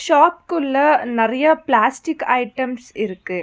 ஷாப்க்குள்ள நறியா plastic items இருக்கு.